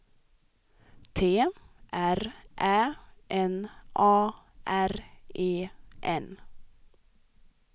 T R Ä N A R E N